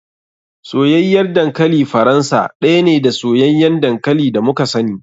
Soyayyar dankali faransa ɗaya ne da soyayyan dankali da muka sani.